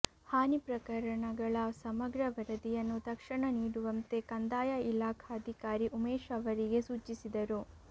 ಹಾನಿ ಪ್ರಕರಣಗಳ ಸಮಗ್ರ ವರದಿಯನ್ನು ತಕ್ಷಣ ನೀಡುವಂತೆ ಕಂದಾಯ ಇಲಾಖಾಧಿಕಾರಿ ಉಮೇಶ್ ಅವರಿಗೆ ಸೂಚಿಸಿದರು